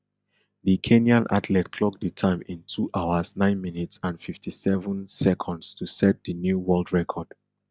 di kenyan athlete clock di time in two hours nine minutes and fifty-seven seconds to set di new world record